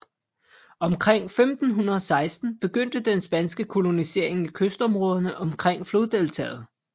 Omkring 1516 begyndte den spanske kolonisering i kystområderne omkring floddeltaet